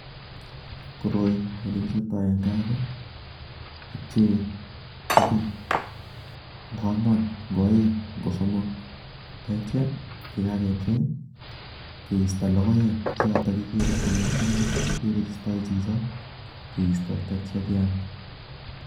Koroi elekichopto en kaa ko kiphee kobun ng'o ang'wan, ng'o oeng, ng'o somok, akityo yekakepchei keisto lokoek chechoton kekere then eng' yoon, kikere istoo chichon, kiisto akityo keam.